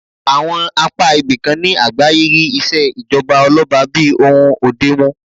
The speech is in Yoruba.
Àwọn apá ibìkan ní àgbáyé rí ìṣèjọba ọlọ́ba bí ohun òde mu